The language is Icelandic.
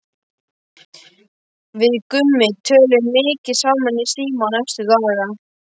Við Gummi töluðum mikið saman í síma næstu daga.